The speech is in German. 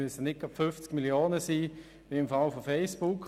Es müssen nicht gleich 50 Millionen Fälle sein wie bei Facebook.